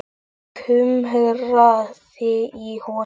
Það kumraði í honum.